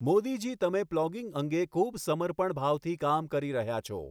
મોદીજી તમે પ્લોગિંગ અંગે ખૂબ સમર્પણભાવથી કામ કરી રહ્યા છો